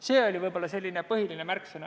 See oli selline põhiline märksõna.